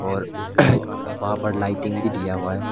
और वहां पर लाइटिंग भी दिया हुआ है।